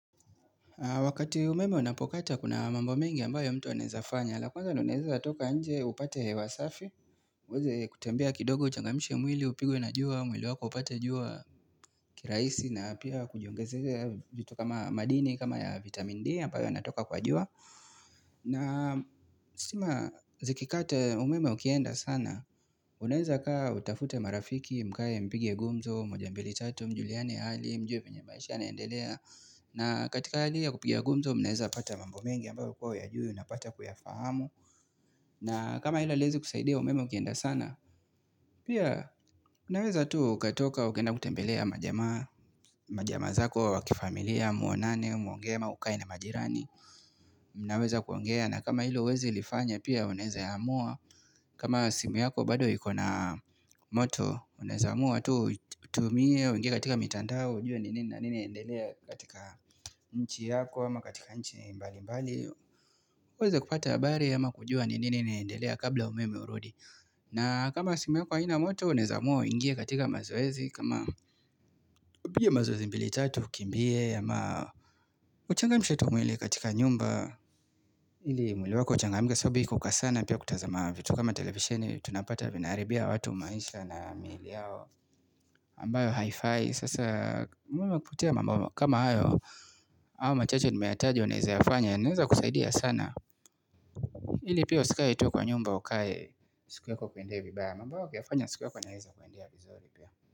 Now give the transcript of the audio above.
Wakati umeme unapokatwa kuna mambo mengi ambayo mtu anawezafanya. La kwanza na unawezatoka nje upate hewa safi. Uweze kutembea kidogo uchangamshe mwili upigwe na jua au mwili wako upate jua kirahisi na pia kujiongezea joto kama madini kama ya vitamin D ambayo yanatoka kwa jua. Na stima zikikata umeme ukienda sana unawezakaa utafute marafiki mkae mpige gumzo, moja mbili tatu, mjuliane hali mjue venye maisha yanaendelea. Na katika hali ya kupiga gumzo mnaweza pata mambo mingi ambayo hukuw huyajui unapata kuyafahamu. Na kama hilo haliwezi kusaidia umeme ukienda sana, pia unaweza tu ukatoka ukaenda kutembelea majama. Majamaa zako wa kifamilia muonane muongee ama ukae na majirani. Mnaweza kuongea na kama hilo huwezi lifanya pia unaweza amua. Kama simu yako bado iko na moto unawezaamua tu utumie uingie katika mitandao. Ujue ni nini na nini inaendelea katika nchi yako ama katika nchi mbalimbali. Uweze kupata habari ama kujua ni nini inaendelea kabla umeme urudi. Na kama simu yako haina moto unawezaamua uingie katika mazoezi kama. Piga mazoezi mbili tatu ukimbie ama uchangamshe tu mwili katika nyumba ili mwili wako uchangamke so kukaa sana pia kutazama vitu kama televisheni tunapata vinaharibia watu maisha na miili yao ambayo haifai sasa, mwema kutia mambo kama hayo, hayo machache nimeyataja unawezayafanya yanaweza kusaidia sana. Ili pia usikae tu kwa nyumba ukae, siku yako ikuendee vibaya mambo haya ukiyafanya siku yako inaweza kuendea vizuri pia.